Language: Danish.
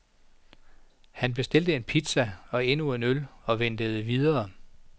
Han bestilte en pizza og endnu en øl og ventede videre.